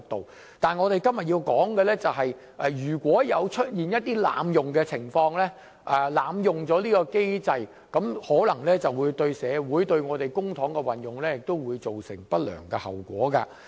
不過，我再三重申，我們的法援制度或支援，如果出現一些被濫用的情況，可能會對社會、對公帑運用造成不良後果。